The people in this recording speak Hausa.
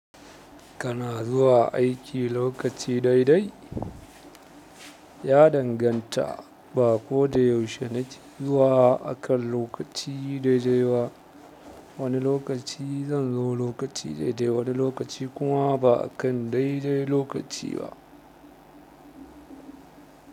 Kana zuwa aiki lokaci daidai ya danganta ba koda yaushe nake zuwa akan lokaci daidai ba wani lokaci zanzo lokaci daidai wani lokaci kuma ba akan daidai lokaci ba.